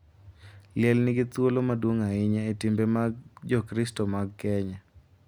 Liel nigi thuolo maduong’ ahinya e timbe mag Jokristo mag Kenya,